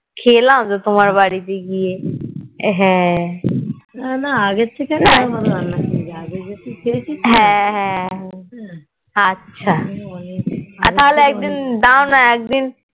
খেলাম তো তোমার বাড়িতে গিয়ে হ্যাঁ হ্যাঁ হ্যাঁ আচ্ছা তাহলে একদিন দাওনা একদিন